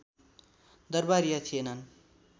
दरबारिया थिएनन्